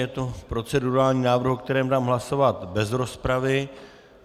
Je to procedurální návrh, o kterém dám hlasovat bez rozpravy.